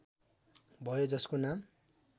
भयो जसको नाम